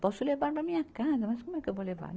Posso levar na minha casa, mas como é que eu vou levar?